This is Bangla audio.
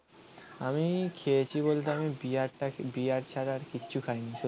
আমি খেয়েছি বলতে আমি বিয়ারটাকে বিয়ার ছাড়া আর কিছু খাইনি